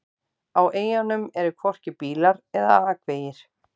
Á eyjunum eru hvorki bílar eða akvegir.